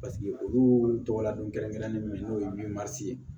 Paseke olu tɔgɔ ladon kɛrɛnkɛrɛnnen min n'o ye ye